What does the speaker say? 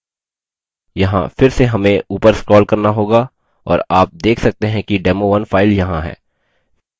यहाँ फिर से हम ऊपर scroll करना होगा और आप देख सकते हैं कि demo1 file यहाँ है